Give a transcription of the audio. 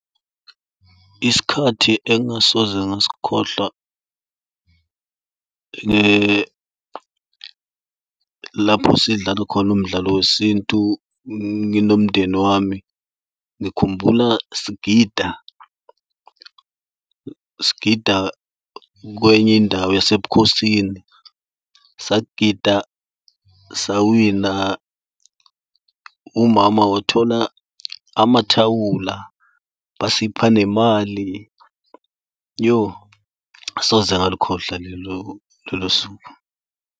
Isikhathi engasoze ngasikhohlwa lapho sidlala khona umdlalo wesintu nginomndeni wami. Ngikhumbula sigida, sigida kwenye indawo yasebukhosini, sagida, sawina, umama wathola amathawula, basipha nemali. Iyo, asoze ngalukhohlwa lelo suku.